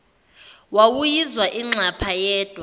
wawuyizwa inxapha yodwa